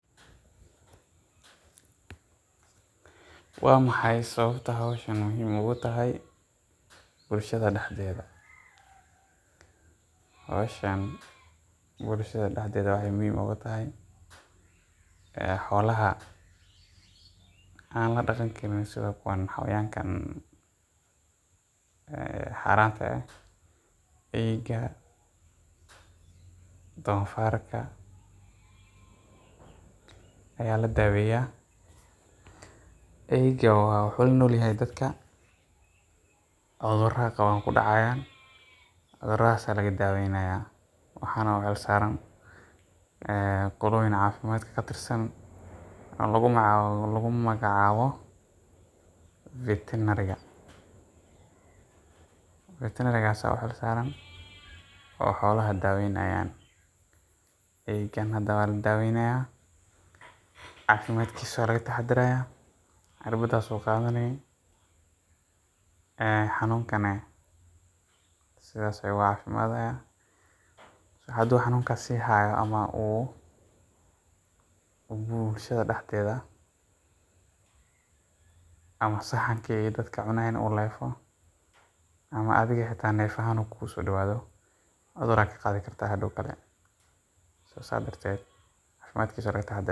Waa maxay sawabta howshan muhiim ogutahay bulshaada daxdedha, howshan bulshaada daxdedha waxee muhiim ogu tahay ee xolaha an ladaqan xayawankan ee xaranta eh eyga donfarka aya ladaweya, eyga wuxuu lanolyahay dadka udhuraada kudacayan cudhuradas aya laga daweynaya, waxana waxaa u xil saran qoloyin cafimaad ka tirsan oo lagu magac cawo veterinary daktarka aya u xil saran oo xolaha daweynaya, eygan hada waa ladaweynaya cafimaadkisa aya laga taxadaraya cirbadas ayu qadhani ee xanunkana sithas ayu oga cafimaadi hadii xanunka u sihayo ama u bulshaada daxdedha ama saxanka ee dadka cunayin u lefo ama adhiga xita nef ahan kugu sodawadho cudhur aya ka qadhi kartaa hadow kale sas darteed cafimadkisa aya laga taxadara.